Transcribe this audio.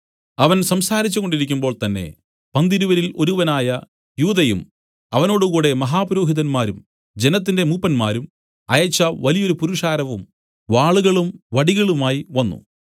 അവൻ സംസാരിച്ചു കൊണ്ടിരിക്കുമ്പോൾ തന്നേ പന്തിരുവരിൽ ഒരുവനായ യൂദയും അവനോട് കൂടെ മഹാപുരോഹിതന്മാരും ജനത്തിന്റെ മൂപ്പന്മാരും അയച്ച വലിയൊരു പുരുഷാരവും വാളുകളും വടികളുമായി വന്നു